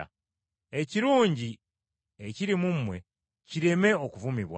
Ekirungi ekiri mu mmwe kireme okuvumibwa.